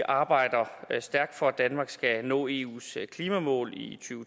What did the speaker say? arbejder stærkt for at danmark skal nå eus klimamål i to